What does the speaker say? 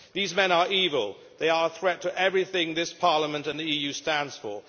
These men are evil. They are a threat to everything this parliament and the EU stands for.